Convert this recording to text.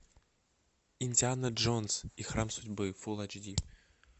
индиана джонс и храм судьбы фулл эйч ди